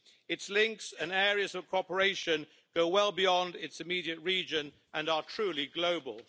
Its links and areas of cooperation go well beyond its immediate region and are truly global.